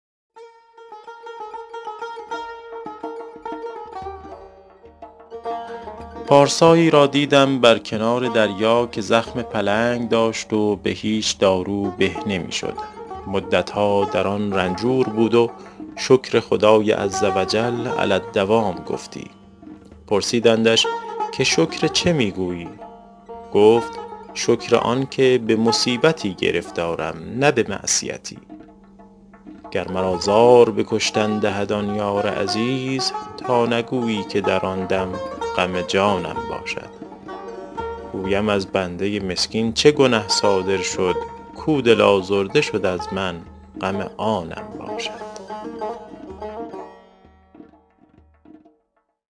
پارسایی را دیدم بر کنار دریا که زخم پلنگ داشت و به هیچ دارو به نمی شد مدتها در آن رنجور بود و شکر خدای عزوجل علی الدوام گفتی پرسیدندش که شکر چه می گویی گفت شکر آن که به مصیبتی گرفتارم نه به معصیتی گر مرا زار به کشتن دهد آن یار عزیز تا نگویی که در آن دم غم جانم باشد گویم از بنده مسکین چه گنه صادر شد کاو دل آزرده شد از من غم آنم باشد